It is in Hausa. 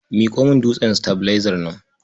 Miƙo min dutsen sitabilaizar nan.